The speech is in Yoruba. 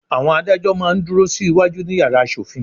Àwọn adájọ́ máa ń dúró sí wájú ní yàrá asòfin.